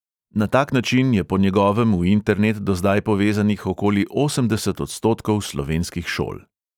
Na tak način je po njegovem v internet do zdaj povezanih okoli osemdeset odstotkov slovenskih šol.